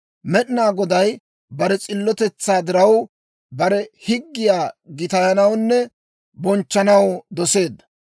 Med'inaa Goday bare s'illotetsaa diraw, bare higgiyaa gitayanawunne bonchchanaw doseedda.